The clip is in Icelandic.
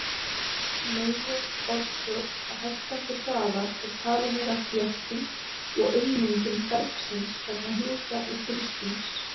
Meginorsök hækkandi hraða er talin vera þétting og ummyndun bergsins vegna hita og þrýstings.